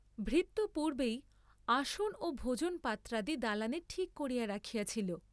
ভৃত্য পূর্ব্বেই আসন ও ভোজনপাত্রাদি দালানে ঠিক করিয়া রাখিয়াছিল।